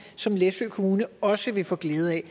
som læsø kommune også vil få glæde af